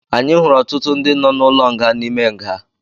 Anyị hụrụ ọtụtụ ndị nọ n'ụlọ nga n'ime nga